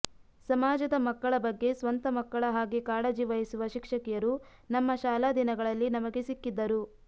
ಸಮಾಜದ ಮಕ್ಕಳ ಬಗ್ಗೆ ಸ್ವಂತ ಮಕ್ಕಳ ಹಾಗೆ ಕಾಳಜಿ ವಹಿಸುವ ಶಿಕ್ಷಕಿಯರು ನಮ್ಮ ಶಾಲಾ ದಿನಗಳಲ್ಲಿ ನಮಗೆ ಸಿಕ್ಕಿದ್ದರು